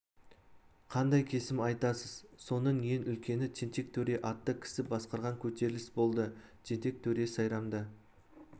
қандай кесім айтасыз соның ең үлкені тентек төре атты кісі басқарған көтеріліс болды тентек төре сайрамды